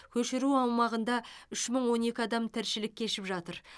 көшіру аумағында үш мың он екі адам тіршілік кешіп жатыр